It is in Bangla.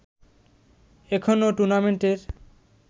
এখনো টুর্নামেন্টের